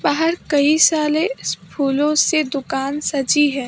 बहार कई सारे फूलों से दुकान सजी है।